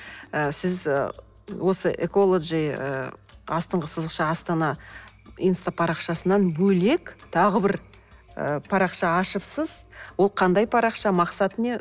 ы сіз ы осы эколоджи ыыы астыңғы сызықша астана инстапарақшасынан бөлек тағы бір ы парақша ашыпсыз ол қандай парақша мақсаты не